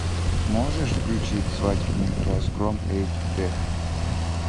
можешь включить свадебный разгром эйч дэ